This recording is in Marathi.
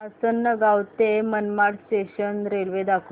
आसंनगाव ते मनमाड जंक्शन रेल्वे दाखव